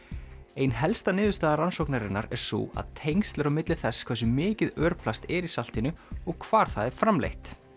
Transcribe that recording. ein helsta niðurstaða rannsóknarinnar er sú að tengsl eru á milli þess hversu mikið örplast er í saltinu og hvar það er framleitt